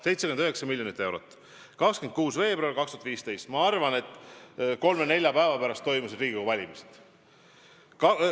See oli 26. veebruaril 2015, kui kolme-nelja päeva pärast toimusid Riigikogu valimised.